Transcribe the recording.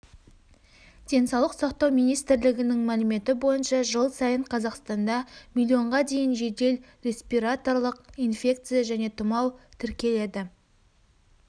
денсаулық сақтау министрлігінің мәліметі бойынша жыл сайын қазақстанда миллионға дейін жедел респираторлық инфекция және тұмау тіркеледі